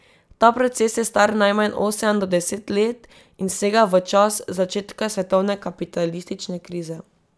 Ta proces je star najmanj osem do deset let in sega v čas začetka svetovne kapitalistične krize.